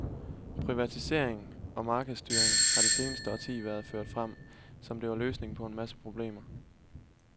Privatisering og markedsstyring har det seneste årti været ført frem, som det var løsningen på en masse problemer.